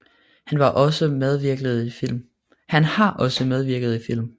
Han har også medvirket i film